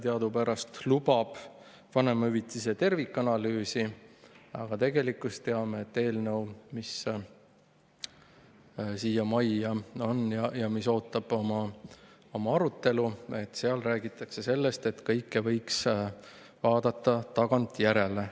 Teadupärast lubab koalitsioonilepe vanemahüvitise tervikanalüüsi, aga me teame, et eelnõus, mis siia majja on ja mis ootab oma arutelu, räägitakse sellest, et kõike võiks vaadata tagantjärele.